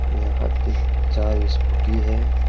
यहां पे चार ही स्कूटी हैं।